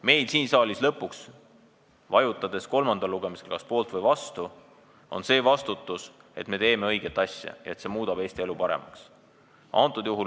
Meil siin saalis, vajutades kolmandal lugemisel kas poolt- või vastu-nuppu, on lõpuks vastutus selle eest, et me teeme õiget asja, et seadus muudab Eesti elu paremaks.